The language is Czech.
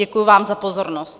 Děkuji vám za pozornost.